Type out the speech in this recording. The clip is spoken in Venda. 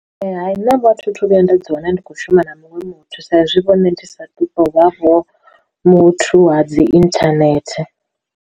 Ee hai na vhathu thu vhuya nda dzi wana ndi kho shuma na muṅwe muthu saizwi vhone ndi sa tou vha vho muthu ha dzi inthanethe.